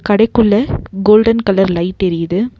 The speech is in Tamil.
கடைக்குள்ள கோல்டன் கலர் லைட் எரியுது.